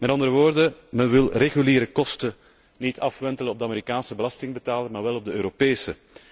Met andere woorden, men wil reguliere kosten niet afwentelen op de Amerikaanse belastingbetaler maar wel op de Europese.